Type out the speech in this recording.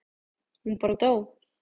Hún bara dó.